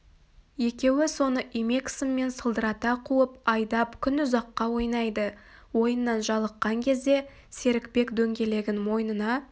екеуі соны имек сыммен сылдырата қуып айдап күн ұзақка ойнайды ойыннан жалыққан кезде серікбек дөңгелегін мойнына